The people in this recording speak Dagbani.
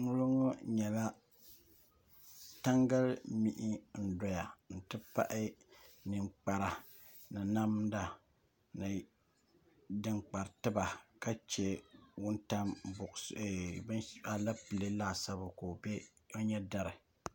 Ŋɔlo ŋɔ nyɛla tangali mihi n-doya nti pahi ninkpara ni namda ni din kpari tiba ka che aleepile laasabu ka o nyɛ dari